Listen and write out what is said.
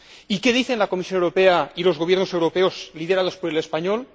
¿Y qué dicen la Comisión Europea y los gobiernos europeos liderados por el español?